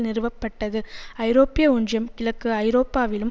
நிறுவப்பட்டது ஐரோப்பிய ஒன்றியம் கிழக்கு ஐரோப்பாவிலும்